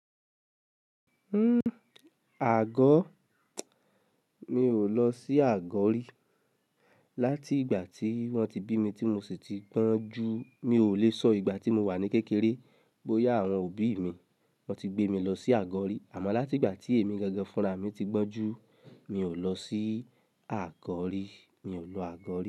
Hmm, àgọ́? Mi ò lọ sí àgọ́ rí. Láti ìgbà tí wọ́n ti bí mi tí mo sì ti to ju, mi ò le sọ ìgbà tí mo wà ní kékeré bóyá àwọn òbí mi wọ́n ti gbé mi lọ sí àgọ́ rí. Àmọ́ láti ìgbà tí èmi gangan fúnra mi ti gbọ́n ju, mi ò lọ sí àgọ́ rí. Mi ò lo àgọ́ rí.